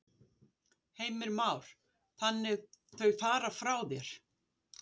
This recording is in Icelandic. Heimir Már: Þannig þau fara frá þér?